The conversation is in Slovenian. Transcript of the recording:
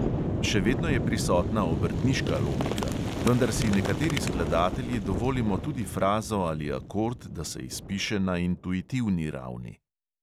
Še vedno je prisotna obrtniška logika, vendar si nekateri skladatelji dovolimo tudi frazo ali akord, da se izpiše na intuitivni ravni.